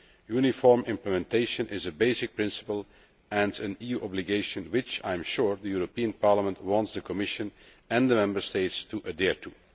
Uniform implementation is a basic principle and an EU obligation, which I am sure the European Parliament wants the Commission and the Member States to adhere to.